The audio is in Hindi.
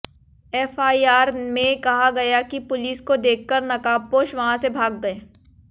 एफआईआर में कहा गया है कि पुलिस को देखकर नकाबपोश वहां से भाग गए